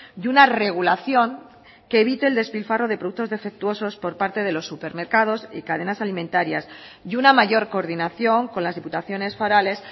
y una regulación que evite el despilfarro de productos defectuosos por parte de los supermercados y cadenas alimentarias y una mayor coordinación con las diputaciones forales